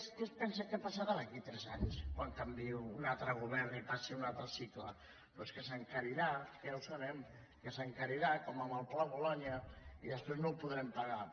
què es pensa que passarà d’aquí a tres anys quan canviï un altre govern i passi un altre cicle doncs que s’encarirà ja ho sabem que s’encarirà com en el pla bolonya i després no ho podrem pagar